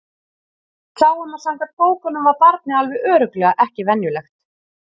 Við sáum að samkvæmt bókunum var barnið alveg örugglega ekki venjulegt.